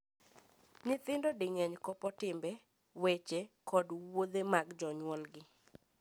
Nyithindo di mang’eny kopo timbe, weche, kod wuodhe mag jonyuolgi.